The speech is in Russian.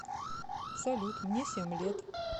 салют мне семь лет